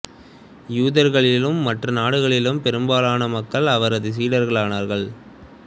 யூதர்களி லும் மற்ற நாடுகளிலும் பெரும்பாலான மக்கள் அவரது சீடர்களானார்கள்